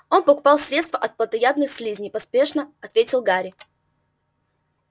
он покупал средство от плотоядных слизней поспешно ответил гарри